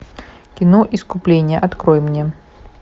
кино искупление открой мне